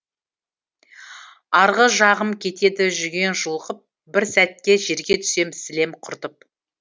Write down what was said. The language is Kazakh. арғы жағым кетеді жүген жұлқып бір сәтке жерге түсем сілем құртып